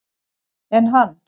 Enn hann